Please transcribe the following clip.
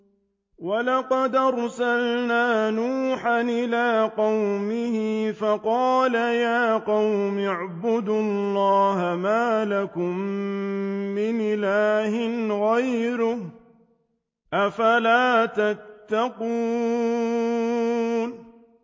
وَلَقَدْ أَرْسَلْنَا نُوحًا إِلَىٰ قَوْمِهِ فَقَالَ يَا قَوْمِ اعْبُدُوا اللَّهَ مَا لَكُم مِّنْ إِلَٰهٍ غَيْرُهُ ۖ أَفَلَا تَتَّقُونَ